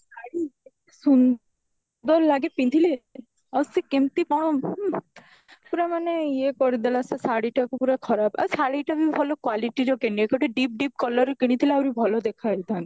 ଶାଢ଼ୀ ସୁନ୍ଦର ଲାଗେ ପିନ୍ଧିଲେ ଆଉ ସିଏ କେମତି କଣ ପୁରା ମାନେ ଈଏ କରିଦେଲା ସେ ଶାଢୀ ଟାକୁ ପୁରା ଖରାବ ଆଉ ଶାଢୀ ଟା ବି ଭଲ quality ର କିଣିନୀ ଗୋଟେ deep deep colour ର କିଣିଥିଲେ ଆହୁରି ଭଲ ଦେଖାଯାଇଥାନ୍ତା